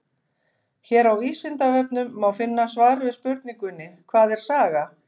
Hér á Vísindavefnum má finna svar við spurningunni Hvað er saga?